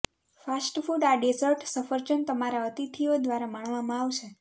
fast food આ dessert સફરજન તમારા અતિથિઓ દ્વારા માણવામાં આવશે